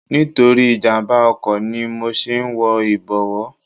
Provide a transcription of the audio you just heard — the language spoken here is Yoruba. Nítorí ìjàmbá oko ni mo ṣe ń wọ ibowo.